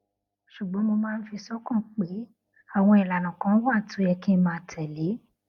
ṣùgbón mo máa ń fi sókàn pé àwọn ìlànà kan wà tó yẹ kí n máa tèlé